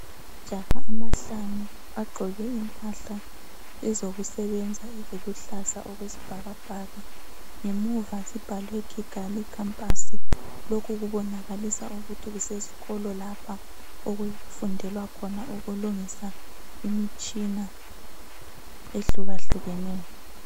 Amajaha amahlanu agqoke impahla ezokusebenza eziluhlaza okwesibhakabhaka. Ngemuva zibhalwe Kigali Campass. Lokhu kutshengisa ukuthi kusesikolo lapha okufundelwa khona ukulungisa imitshina ehlukahlukeneyo.